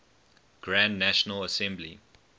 grand national assembly